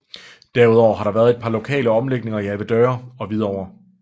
Derudover har der været et par lokale omlægninger i Avedøre og Hvidovre